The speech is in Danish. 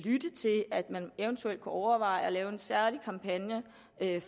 eventuelt kunne overveje at lave en særlig kampagne